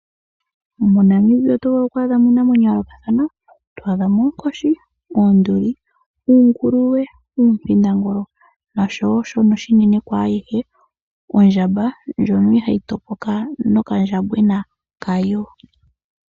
MoNamibia oto vulu oku adha mo iinamwenyo yayoolokathathana. To adha mo oonkoshi, oonduli, uunguluwe, uumpindangulu nosho wo shono oshinene kwaayihe ondjamba ndjono ihaayi topoka nokandjambwena ka yo.